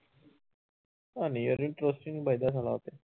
ਨਹੀਂ ਯਾਰ interest ਹੀ ਨੀ ਬੱਝਦਾ ਸਾਲਾ ਉਹ ਤੇ